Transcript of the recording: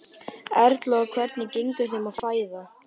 Erla: Og hvernig gengur þeim að fæða?